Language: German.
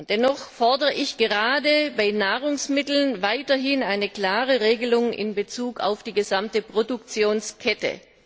Dennoch fordere ich gerade bei Nahrungsmitteln weiterhin eine klare Regelung in Bezug auf die gesamte Produktionskette.